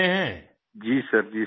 मंजूर जी जी सर जी सर